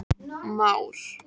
Már